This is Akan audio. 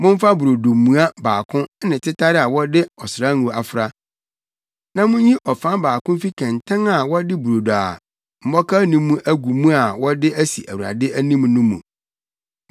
Momfa brodo mua baako ne tetare a wɔde ɔsrango afra, na munyi ɔfam baako mfi kɛntɛn a wɔde brodo a mmɔkaw nni mu agu mu a wɔde asi Awurade anim no mu.